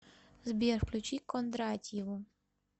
сбер включи кондратьеву